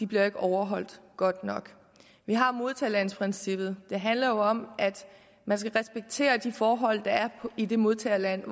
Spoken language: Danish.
bliver overholdt godt nok vi har modtagerlandsprincippet og det handler jo om at man skal respektere de forhold der er i det modtagerland